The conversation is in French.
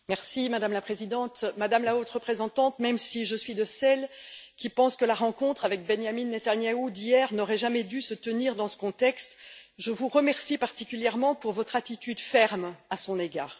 Madame la Présidente, Madame la Haute représentante, même si je suis de celles qui pensent que la rencontre d'hier avec Benyamin Netanyahou n'aurait jamais dû se tenir dans ce contexte, je vous remercie particulièrement pour votre attitude ferme à son égard.